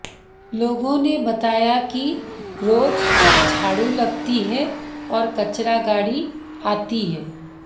लोगों ने बताया कि रोज झाड़ू लगती है और कचरा गाड़ी आती है